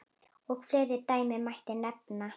Og fleiri dæmi mætti nefna.